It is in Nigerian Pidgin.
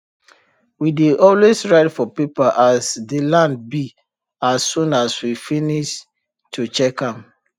we dey always write for paper as dey land be as soon as we finis to check am